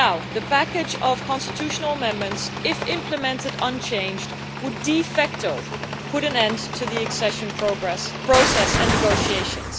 The package of constitutional amendments, if implemented unchanged, would de facto put an end to the accession process and negotiations.